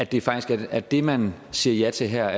det faktisk er det man siger ja til her